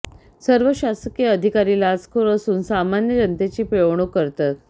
सर्व शासकीय अधिकारी लाचखोर असून सामन्या जनतेची पिळवणूक करतात